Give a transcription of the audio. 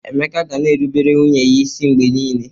Emeka ga na-erubere nwunye ya isi mgbe niile.